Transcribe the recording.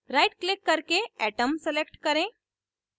right click करके atom select करें